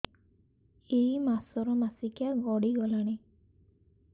ଏଇ ମାସ ର ମାସିକିଆ ଗଡି ଗଲାଣି